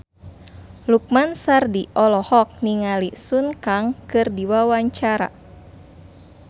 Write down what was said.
Lukman Sardi olohok ningali Sun Kang keur diwawancara